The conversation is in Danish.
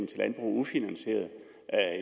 til landbruget ufinansierede